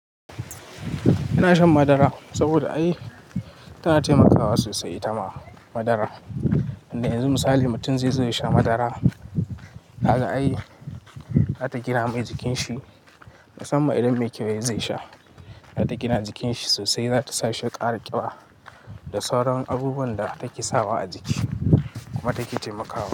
Ina shan madara saboda ai tana taimakawa sosai, itama madara. Tunda yanzu misali mutum zai zo ya sha madara, kaga ai za ta gina mai jikinsa. Musamman idan mai kyau zai sha, za ta gina jikinsa sosai. Za ta sa shi ya ƙara ƙiba da sauran abubuwan da take sawa a jiki kuma take taimakawa.